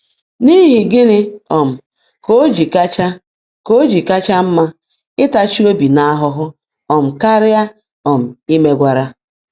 N’ihi gịnị um ka o ji kacha o ji kacha mma ịtachi obi n’ahụhụ um karịa um imegwara?